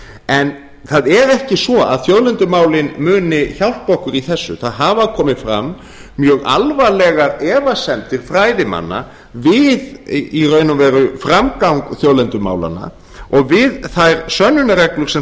en það er ekki svo að þjóðlendumálin muni hjálpa okkur í þessu það hafa komið fram mjög alvarlegar efasemdir fræðimanna við í raun og veru framgang þjóðlendumálanna og við þær sönnunarreglur sem